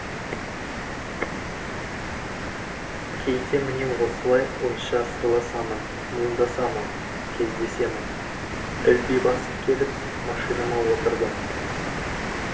кейде міне осылай ойша сырласамын мұңдасамын кездесемін ілби басып келіп машинама отырдым